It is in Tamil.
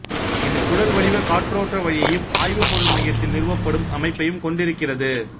இது குழல்வடிவ காற்றோட்ட வழியையும் ஆய்வுப்பொருள் மையத்தில் நிறுவப்படும் அமைப்பையும் கொண்டிருக்கிறது